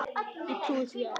Ég trúði því að